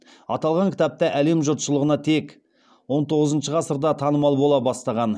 аталған кітап та әлем жұртшылығына тек он тоғызыншы ғасырда танымал бола бастаған